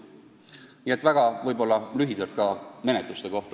Need olid lühidalt paar mõtet ka menetluste kohta.